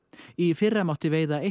í fyrra mátti veiða